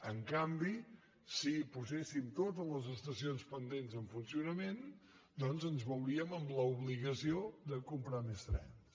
en canvi si poséssim totes les estacions pendents en funcionament doncs ens veuríem amb l’obligació de comprar més trens